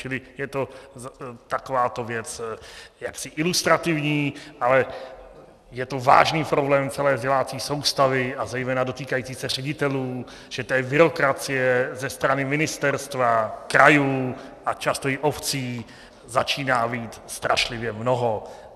Čili je to takováto věc jaksi ilustrativní, ale je to vážný problém celé vzdělávací soustavy a zejména dotýkající se ředitelů, že té byrokracie ze strany ministerstva, krajů a často i obcí, začíná být strašlivě mnoho.